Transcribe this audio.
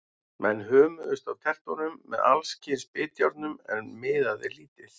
Menn hömuðust á tertunum með alls kyns bitjárnum, en miðaði lítið.